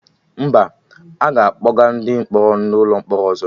Mba, aga akpọga ndị mkpọrọ n'ụlọ mkpọrọ ọzọ